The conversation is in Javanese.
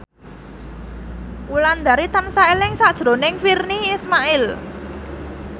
Wulandari tansah eling sakjroning Virnie Ismail